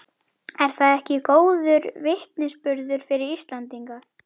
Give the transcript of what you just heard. Er það ekki góður vitnisburður fyrir Íslendinga?